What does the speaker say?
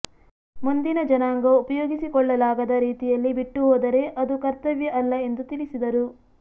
ಮುಂದಿನ ಜನಾಂಗ ಉಪಯೋಗಿಸಿಕೊಳ್ಳಲಾಗದ ರೀತಿಯಲ್ಲಿ ಬಿಟ್ಟು ಹೋದರೆ ಅದು ಕರ್ತವ್ಯ ಅಲ್ಲ ಎಂದು ತಿಳಿಸಿದರು